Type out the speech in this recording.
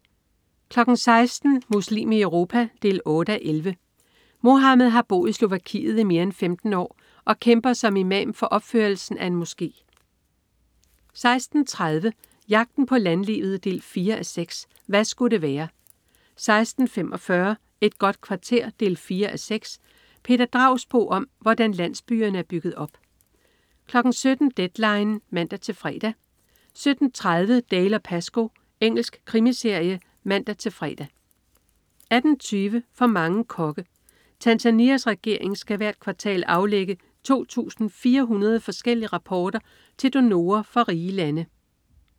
16.00 Muslim i Europa 8:11. Mohammad har boet i Slovakiet i mere end 15 år og kæmper som imam for opførelsen af en moské 16.30 Jagten på landlivet 4:6. Hva' sku' det være? 16.45 Et godt kvarter 4:6. Peter Dragsbo om, hvordan landsbyerne er bygget op 17.00 Deadline 17:00 (man-fre) 17.30 Dalziel & Pascoe. Engelsk krimiserie (man-fre) 18.20 For mange kokke. Tanzanias regering skal hvert kvartal aflægge 2400 forskellige rapporter til donorer fra rige lande